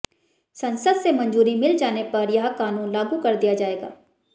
संसद से मंजूरी मिल जाने पर यह कानून लागू कर दिया जाएगा